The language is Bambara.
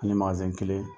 Ani kelen